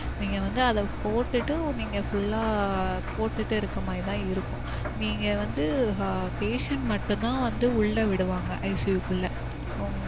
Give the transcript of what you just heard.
நீங்க வந்து அத போட்டுட்டு நீங்க full லா போட்டுட்டு இருக்க மாறி தான் இருக்கும். நீங்க வந்து patient மட்டும் தான் வந்து உள்ள விடுவாங்க ICU குள்ள